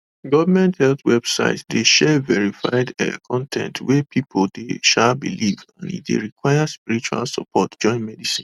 government health websites dey share verified um con ten t wey some people dey um believe and e dey require spiritual support join medicine